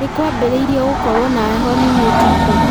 Nĩkwambĩrĩirie gũkorwo na heho nini ũtukũ